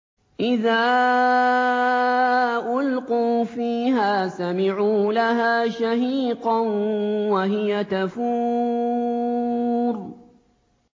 إِذَا أُلْقُوا فِيهَا سَمِعُوا لَهَا شَهِيقًا وَهِيَ تَفُورُ